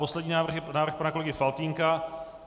Poslední návrh je návrh pana kolegy Faltýnka.